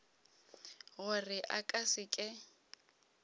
gore a ka se ke